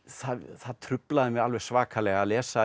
það truflaði mig alveg svakalega að lesa